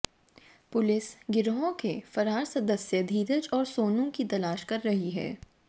police गिरोह के फरार सदस्य धीरज और सोनू की तलाश कर रही है